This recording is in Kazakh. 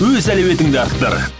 өз әлеуетіңді арттыр